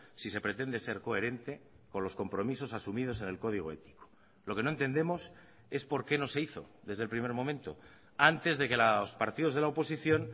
si se pretende ser coherente con los compromisos asumidos en el código ético lo que no entendemos es por qué no se hizo desde el primer momento antes de que los partidos de la oposición